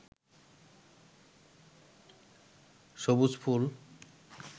সবুজ ফুল